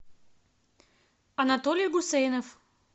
анатолий гусейнов